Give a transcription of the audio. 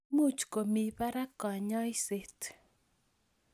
Much komii parak kanyaiset